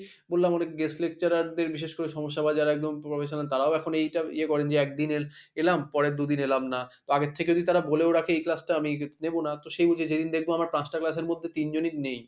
বললাম ওর guest Lecturer দের বিশেষ করে সমস্যা যারা একদম professional তারাও এখন এইটা ইয়ে করেন যে একদিনে এলাম পরের দুদিন এলাম না তো আগের থেকে যদি তারা বলেও রাখে এই class টা আমি নেবো না তো সেই বুঝে যেদিন দেখবো আমার পাঁচটা class এর মধ্যে তিনজনই নেই,